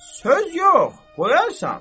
Söz yox, qoyarsan.